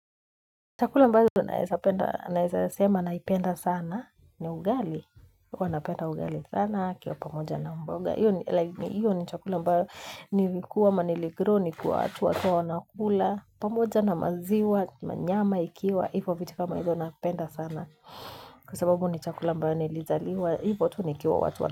Chakula mbazo naeza sema naipenda sana. Ni ugali. Uwanapenda ugali sana. Kio pamoja na mboga. Iyo ni chakula mbayo. Nilikuwa ama niligrow ni kuwa atu watu wanakula. Pamoja na maziwa. Nanyama ikiwa. Hivo vitu kama hizo napenda sana. Kwa sababu ni chakula mbayo nilizaliwa. Hivo tu nikiwa watu wanakula.